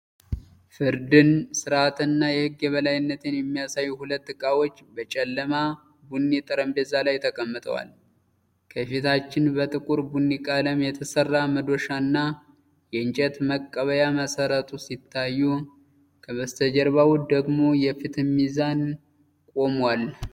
ፍርድን፣ ሥርዓትንና የሕግን የበላይነት የሚያሳዩ ሁለት ዕቃዎች በጨለማ ቡኒ ጠረጴዛ ላይ ተቀምጠዋል። ከፊታችን በጥቁር ቡኒ ቀለም የተሠራ መዶሻና የእንጨት መቀበያ መሠረቱ ሲታዩ፣ ከበስተጀርባው ደግሞ የፍትህ ሚዛን ቆሟል።